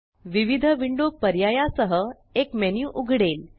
विविध विंडो पर्याया सह एक मेन्यु उघडेल